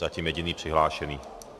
Zatím jediný přihlášený.